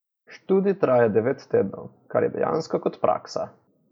Študij traja devet tednov, kar je dejansko kot praksa.